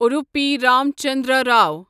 Udupi Ram Chandra Rao